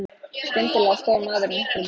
Skyndilega stóð maðurinn upp frá borðum.